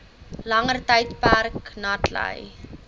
langer tydperk natlei